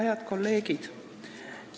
Head kolleegid!